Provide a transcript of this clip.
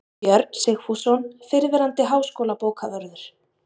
Björn Sigfússon, fyrrverandi háskólabókavörður